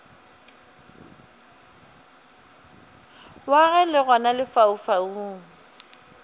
wa ge le gona lefaufau